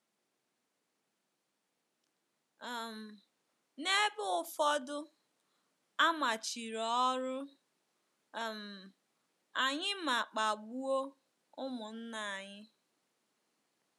um N’ebe ụfọdụ, a machiri ọrụ um anyị ma kpagbuo ụmụnna anyị.